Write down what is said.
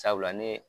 Sabula ne ye